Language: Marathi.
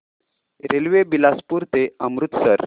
रेल्वे बिलासपुर ते अमृतसर